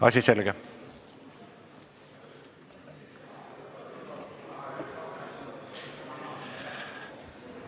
Asi selge.